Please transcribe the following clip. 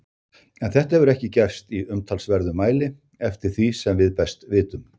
En þetta hefur ekki gerst í umtalsverðum mæli eftir því sem við best vitum.